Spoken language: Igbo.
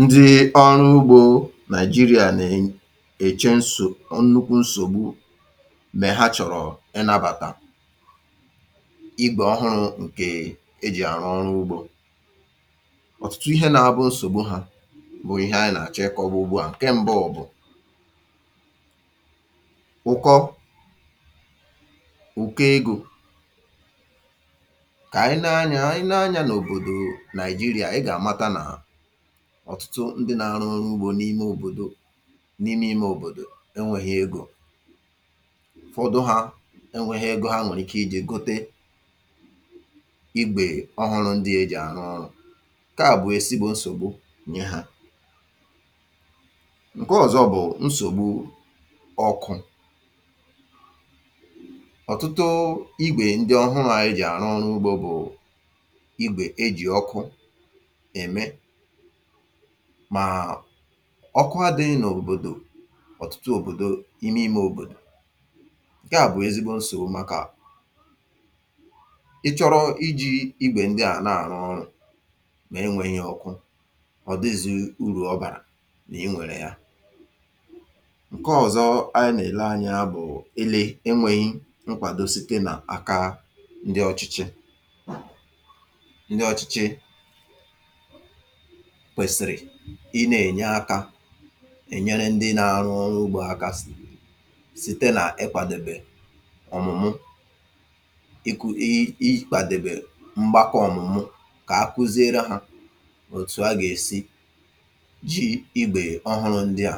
Ndị̀ ọrụ ugbȯ nàigeria nà-èche nsò nnukwu nsògbu mè ha chọ̀rọ̀ ịnȧbàtà igwè ọhụrụ̇ ǹkè e jì àrụ ọrụ ugbȯ. Ọ̀tụtụ ihe nȧ-abụ̇ nsògbu hȧ bụ̀ ihe anyị̇ nà-àchị kọ̀ọ bụ̇ ùgbua. Ǹke m̀bụ bụ̀, ụ̀kọ, ụ̀ko egȯ kà ànyị nà-anya anyị nà-anyà n’òbòdò nàigeria. ịga amata na ọ̀tụtụ ndị nȧ-arụ ọrụ ugbȯ n’ime òbòdò n’ime ime òbòdò enwėghi egȯ ụfọdụ ha enwėghi egȯ ha nọ̀rịkè iji̇ gote igwè ọhụrụ̇ ndị à jì àrụ ọrụ̇. Ǹke à bụ̀ esi gbò nsògbu nye hȧ. Ǹke ọ̀zọ bụ̀ nsògbu ọkụ. Ọ̀tụtụ igwè ndị ọ̀hụrụ̇ ejì àrụ ọ̀rụ ugbȯ bụ̀ igwè e jì ọkụ eme màà ọkụ adị̇ghi òbòdò ọ̀tụtụ òbòdo ime ime òbòdò. Ǹke à bụ̀ ezigbo nsògbu màkà ị chọ̇rọ̇ iji̇ igwè ndị à na-àrụ ọrụ̇ mà enwėghi̇ ọkụ, ọ̀ dịzi urù ọ bàrà n’enwèrè ya! Ǹke ọ̀zọ anyị nà-èle anya bụ̀, ele enwėghi̇ nkwàdo site nà aka ndị ọ̇chịchị. Ndị ọ̇chịchị kwèsìrì ị nà-ènye akȧ ènyere ndị na-arụ ọrụ ugbȯ aka site nà ịkwàdèbè ọ̀mụ̀mụ̀ iku um ịkwàdèbè mgbakọ̇ ọ̀mụ̀mụ̀ kà akuziere hȧ òtù a gà-èsi ji igbè ọhụrụ ndị à